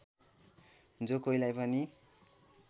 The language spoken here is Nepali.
जो कोहीलाई पनि